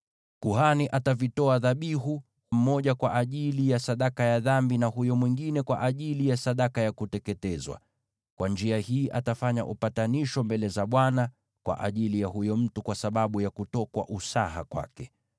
Kuhani atavitoa dhabihu, mmoja kwa ajili ya sadaka ya dhambi na huyo mwingine kwa ajili ya sadaka ya kuteketezwa. Kwa njia hii atafanya upatanisho mbele za Bwana kwa ajili ya huyo mtu kwa sababu ya kutokwa usaha kwake.